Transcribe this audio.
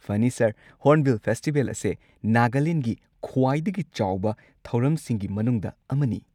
ꯐꯅꯤ, sir! Hornbill festival ꯑꯁꯦ ꯅꯥꯒꯥꯂꯦꯟꯒꯤ ꯈ꯭ꯋꯥꯏꯗꯒꯤ ꯆꯥꯎꯕ ꯊꯧꯔꯝꯁꯤꯡꯒꯤ ꯃꯅꯨꯡꯗ ꯑꯃꯅꯤ꯫